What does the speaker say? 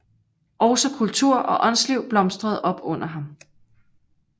Også kultur og åndsliv blomstrede op under ham